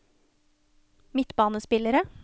midtbanespillere